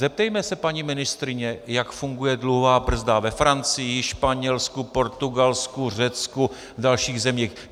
Zeptejme se paní ministryně, jak funguje dluhová brzda ve Francii, Španělsku, Portugalsku, Řecku a dalších zemích.